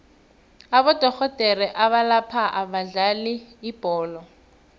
abodorhodere abalapha abadlali bebholo